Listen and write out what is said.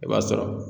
I b'a sɔrɔ